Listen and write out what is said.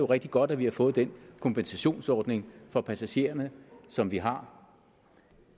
rigtig godt at vi har fået den kompensationsordning for passagererne som vi har